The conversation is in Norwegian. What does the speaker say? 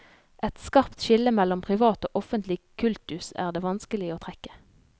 Et skarpt skille mellom privat og offentlig kultus er det vanskelig å trekke.